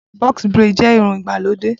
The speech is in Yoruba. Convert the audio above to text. Box Braid jẹ́ irun ìgbàlódé